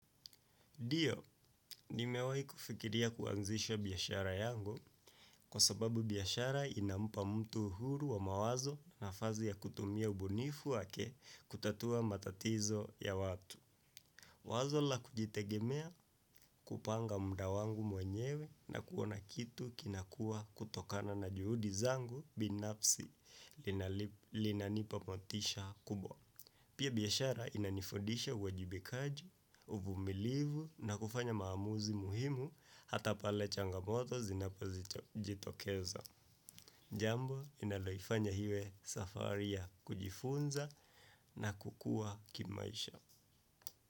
Dio, nimewahi kufikiria kuanzisha biashara yangu kwa sababu biashara inampa mtu uhuru wa mawazo, nafasi ya kutumia ubunifu wake kutatua matatizo ya watu. Wazo la kujitegemea, kupanga mda wangu mwenyewe na kuona kitu kinakua kutokana na juhudi zangu binafsi linanipa motisha kubwa. Pia biashara inanifudisha uajibikaji, uvumilivu na kufanya maamuzi muhimu hata pale changamoto zinapojitokeza. Jambo linaloifanya iwe safari ya kujifunza na kukua kimaisha.